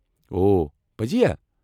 او، پٔزی ہا ؟